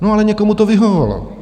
No, ale někomu to vyhovovalo.